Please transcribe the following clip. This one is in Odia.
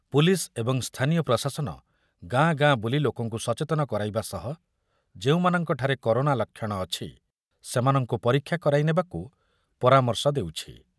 ପୁଲିସ୍ ଏବଂ ସ୍ଥାନୀୟ ପ୍ରଶାସନ ଗାଁ ଗାଁ ବୁଲି ଲୋକଙ୍କୁ ସଚେତନ କରାଇବା ସହ ଯେଉଁମାନଙ୍କଠାରେ କରୋନା ଲକ୍ଷଣ ଅଛି, ସେମାନଙ୍କୁ ପରୀକ୍ଷା କରାଇ ନେବାକୁ ପରାମର୍ଶ ଦେଉଛି।